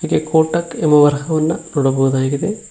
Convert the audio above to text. ಇಲ್ಲಿ ಕೋಟಕ್ ಎಂಬ ವರಹವನ್ನ ನೋಡಬಹುದಾಗಿದೆ.